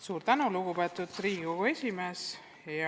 Suur tänu, lugupeetud Riigikogu esimees!